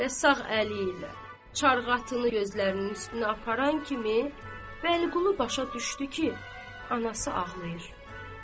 Və sağ əli ilə çarğatını gözlərinin üstünə aparan kimi Vəliqulu başa düşdü ki, anası ağlayır.